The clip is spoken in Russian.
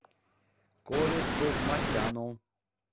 коле товмасяну